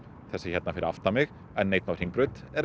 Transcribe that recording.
þessi hérna fyrir aftan mig n einn á Hringbraut er